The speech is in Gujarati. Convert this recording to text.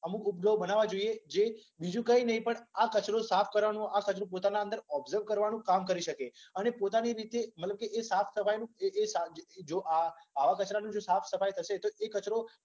અમુક ઉપગ્રહો બનાવવા જોઈએ જે બીજુ કઈ નઈ પણ આ કચરો સાફ કરવાનુ આ કચરો પોતાની અંદર ઓબઝવ કરવાનુ કામ કરી શકે અને પોતાની રીતે મતલબ કે એ સાફ-સફાઈનુ જે જે જો આવા કચરાનુ સાફસફાઈ થશે તો એ કચરો